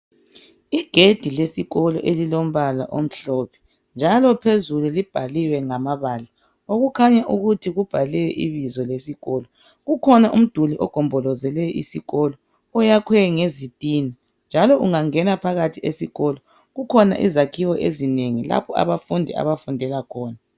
Igedi lesikolo elilombala omhlophe njalo phezulu libhaliwe ngamabala okukhanya ukuthi kubhale ibizo esikolo. Kukhona umduli ogombolozele isikolo. Oyakhwe. isitina. Njalo ungangena phakathi esikolo kukhona izakhiwo ezinengi lapho abafundi abafundela khona.